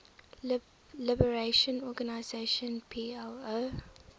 liberation organization plo